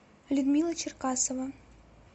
людмила черкасова